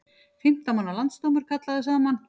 Fimmtán manna landsdómur kallaður saman